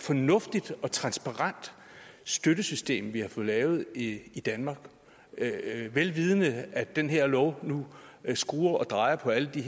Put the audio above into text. fornuftigt og transparent støttesystem vi har fået lavet i danmark vel vidende at den her lov nu skruer og drejer på alle de